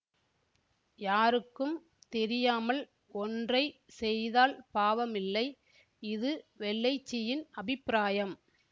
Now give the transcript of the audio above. யாருக்கும் தெரியாமல் ஒன்றை செய்தால் பாவமில்லை இது வெள்ளைச்சியின் அபிப்பிராயம்